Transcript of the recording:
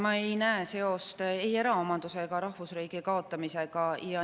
Ma ei näe seost ei eraomanduse ega rahvusriigi kaotamisega.